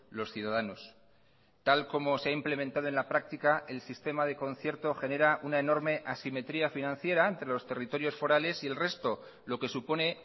los ciudadanos tal como se ha implementado en la práctica el sistema de concierto genera una enorme asimetría financiera entre los territorios forales y el resto lo que supone